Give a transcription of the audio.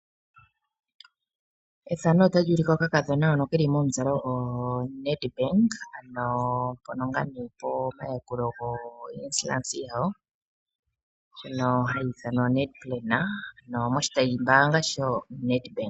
Efano otali ulike okakadhona hono keli momuzalo Nedbank. Ano mpono ngaa nee pomayakulo go insurance yawo. Ndjono hayi ithanwa Netplan ano moshitayi mbaanga shoNedbank.